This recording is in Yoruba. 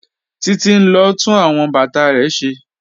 Títí n lọ tún awọn bátà rẹ̀ ṣẹ́.